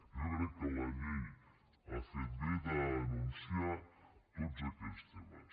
jo crec que la llei ha fet bé d’anunciar tots aquells temes